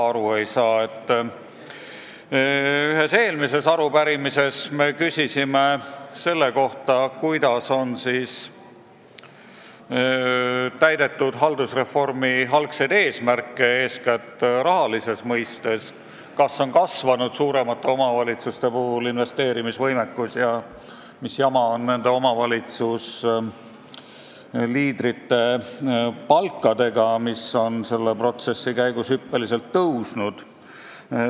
Oma eelmises arupärimises me küsisime selle kohta, kuidas on täidetud haldusreformi algsed eesmärgid, eeskätt rahalises mõttes, kas on kasvanud suuremate omavalitsuste investeerimisvõimekus ja mis jama omavalitsusliidrite palkadega, sest need on protsessi käigus hüppeliselt tõusnud.